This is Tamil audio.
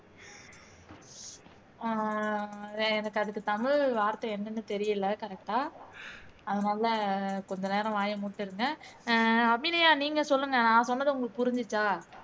ஹம் எனக்கு அதுக்கு தமிழ் வார்த்தை என்னன்னு தெரியலை correct ஆ அதனால கொஞ்சநேரம் வாயை மூடிட்டு இருங்க அஹ் அபிநயா நீங்க சொல்லுங்க நான் சொன்னது உங்களுக்கு புரிஞ்சுச்சா